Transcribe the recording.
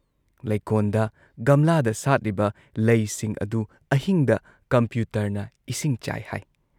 ꯂꯩꯀꯣꯟꯗ, ꯒꯝꯂꯥꯗ ꯁꯥꯠꯂꯤꯕ ꯂꯩꯁꯤꯡ ꯑꯗꯨ ꯑꯍꯤꯡꯗ ꯀꯝꯄ꯭ꯌꯨꯇꯔꯅ ꯏꯁꯤꯡ ꯆꯥꯏ ꯍꯥꯏ ꯫